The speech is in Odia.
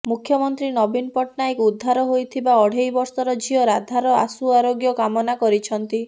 ମୁଖ୍ୟମନ୍ତ୍ରୀ ନବୀନ ପଟ୍ଟନାୟକ ଉଦ୍ଧାର ହୋଇଥିବା ଅଢେଇ ବର୍ଷର ଝିଅ ରାଧାର ଆଶୁ ଆରୋଗ୍ୟ କାମନା କରିଛନ୍ତି